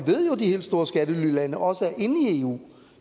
helt store skattelylande også er inde i eu